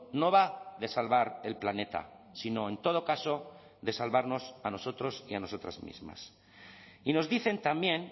no va de salvar el planeta sino en todo caso de salvarnos a nosotros y a nosotras mismas y nos dicen también